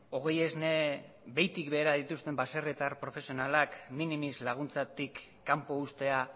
hogei esne behitik behera dituzten baserritar profesionalak minimis laguntzatik kanpo uztea